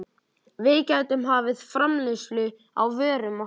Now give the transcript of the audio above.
Við gætum hafið framleiðslu á vörum okkar í